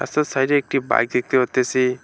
তার সাইডে একটি বাইক দেখতে পারতেছি।